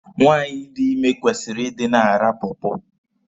Nwaanyị dị ime kwesịrị ịdị na-ara pọọpọọ.